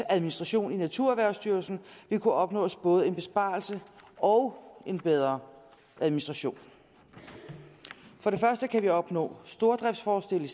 administration i naturerhvervsstyrelsen vil kunne opnås både en besparelse og en bedre administration for det første kan vi opnå stordriftsfordele